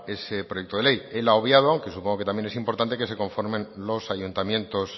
ese proyecto de ley él ha obviado que supongo que también es importante que se conformen los ayuntamientos